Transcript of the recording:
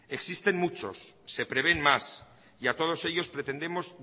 existen muchos se prevén más y a todos ellos pretendemos